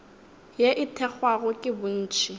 ye e thekgwago ke bontši